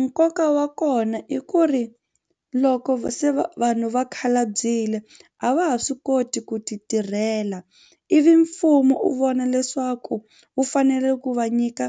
Nkoka wa kona i ku ri loko se va vanhu va khalabyile a va ha swi koti ku titirhela ivi mfumo u vona leswaku wu fanele ku va nyika